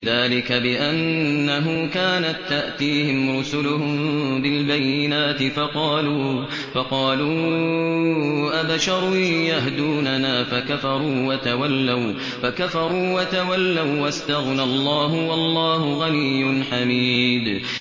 ذَٰلِكَ بِأَنَّهُ كَانَت تَّأْتِيهِمْ رُسُلُهُم بِالْبَيِّنَاتِ فَقَالُوا أَبَشَرٌ يَهْدُونَنَا فَكَفَرُوا وَتَوَلَّوا ۚ وَّاسْتَغْنَى اللَّهُ ۚ وَاللَّهُ غَنِيٌّ حَمِيدٌ